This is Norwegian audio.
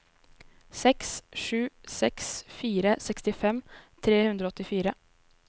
seks sju seks fire sekstifem tre hundre og åttifire